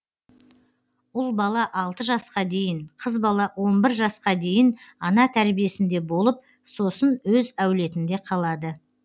ұл бала алты жасқа дейін қыз бала он бір жасқа дейін ана тәрбиесінде болып сосын өз әулетінде қалады